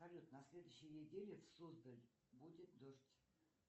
салют на следующей неделе в суздаль будет дождь